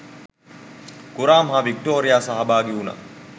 කුරාම් හා වික්ටෝරියා සහභාගි වුණා